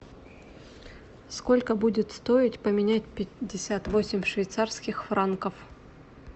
сколько будет стоить поменять пятьдесят восемь швейцарских франков